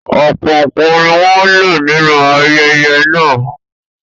Ọ̀pọ̀ nǹkan ni wọ́n ń lò nínú ayẹyẹ náà.